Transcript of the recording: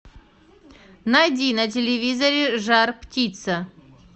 найди на телевизоре жар птица